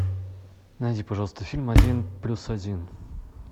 найди пожалуйста фильм один плюс один